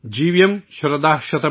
जीवेम शरदः शतम्।